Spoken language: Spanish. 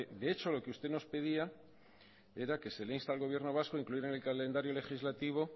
de hecho lo que usted nos pedía era que se le insta al gobierno vasco a incluir en el calendario legislativo